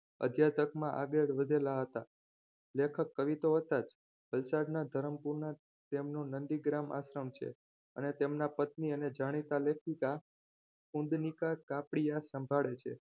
અધ્યાત્મકમાં આગળ વધેલા હતા. લેખક કવિ તો હતા જ વલસાડના ધરમપુરના તેમનું નંદીગ્રામ આશ્રમ છે અને તેમના પત્ની અને જાણીતા લેખિકા ઊંધનીકા કાપડિયા સંભાળે છે